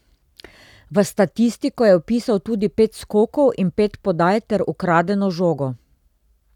V statistiko je vpisal tudi pet skokov in pet podaj ter ukradeno žogo.